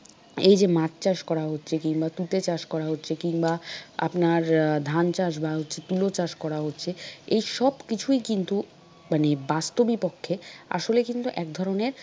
এই যে মাছ চাষ করা হচ্ছে কিংবা তুতে চাষ করা হচ্ছে কিংবা আপনার আহ ধানচাষ বা হচ্ছে তুলা চাষ করা হচ্ছে এ সবকিছুই কিন্তু মানে বাস্তবিকপক্ষে আসলে কিন্তু এক ধরনের,